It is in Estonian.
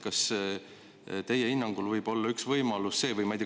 Kas teie hinnangul võib üks võimalus olla see?